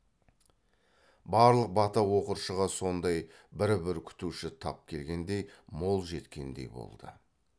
барлық бата оқыршыға сондай бір бір күтуші тап келгендей мол жеткендей болды